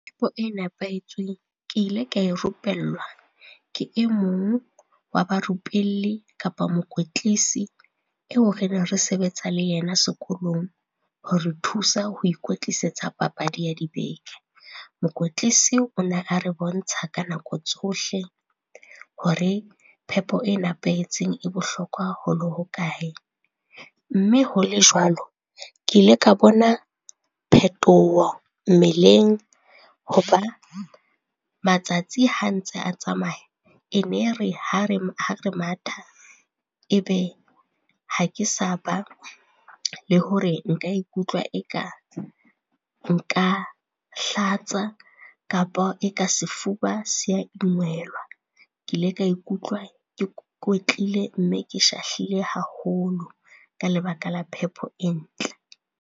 Phepo e nepahetsweng, ke ile ka e rupellwa ke e mong wa ba rupelli kapa mokwetlisi eo re ne re sebetsa le yena sekolong hore thusa ho ikwetlisetsa papadi ya dibeke. Mokwetlisi o ne a re bontsha ka nako tsohle, hore phepo e nepahetseng e bohlokwa ho le hokae. Mme ho le jwalo, ke ile ka bona phetoho mmeleng, ho ba matsatsi ha ntse a tsamaya, e ne re ha re matha e be ha ke sa ba le hore nka ikutlwa eka nka hlatsa kapa e ka sefuba se a . Ke ile ka ikutlwa ke kwetlile mme ke shahlile haholo ka lebaka la phepo e ntle.